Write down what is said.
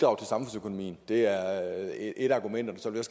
vi det er et af argumenterne så vil